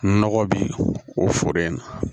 Nɔgɔ bi o foro in na